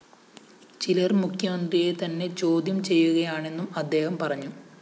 ചിലര്‍ മുഖ്യമന്ത്രിയെ തന്നെ ചോദ്യം ചെയ്യുകയാണെന്നും അദ്ദേഹം പറഞ്ഞു